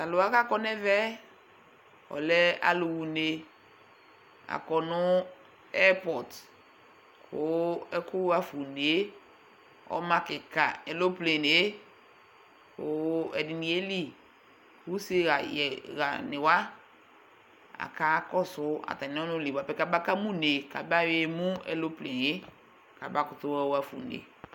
Tʋ alʋ wa kʋ akɔ nʋ ɛvɛ yɛ, ɔlɛ alʋɣa une Akɔ nʋ ɛrpɔt kʋ ɛkʋ ɣa fa une yɛ ɔma kɩka, eloplene yɛ kʋ ɛdɩnɩ yeli Kʋ useɣa yɛ ɣanɩ wa akakɔsʋ atamɩ ɔnʋ li bʋa pɛ kamaka ma une kabaɣa emu eloplene yɛ kabakʋtʋ yɔɣa fa une